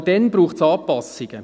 Aber dann braucht es Anpassungen.